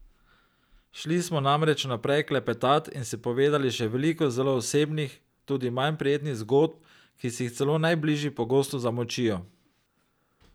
Šli smo namreč naprej klepetat in si povedali še veliko zelo osebnih, tudi manj prijetnih zgodb, ki si jih celo najbližji pogosto zamolčijo.